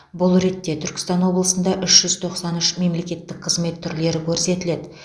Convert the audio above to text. бұл ретте түркістан облысында үш жүз тоқсан үш мемлекеттік қызмет түрлері көрсетіледі